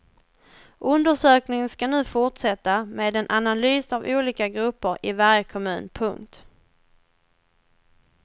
Undersökningen ska nu fortsätta med en analys av olika grupper i varje kommun. punkt